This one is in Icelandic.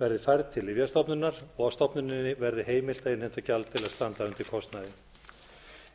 verði færð til lyfjastofnunar og að stofnuninni verði heimilt að innheimta gjald til að standa undir kostnaði